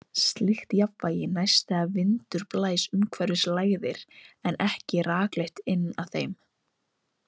Slíkt jafnvægi næst þegar vindur blæs umhverfis lægðir, en ekki rakleitt inn að þeim.